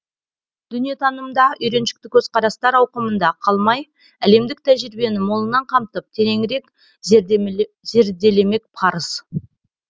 дүниетанымда үйреншікті көзқарастар ауқымында қалмай әлемдік тәжірибені молынан қамтып тереңірек зерделемек парыз